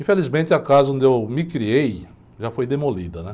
Infelizmente, a casa onde eu me criei já foi demolida. Né?